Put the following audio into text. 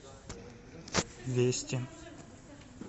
вести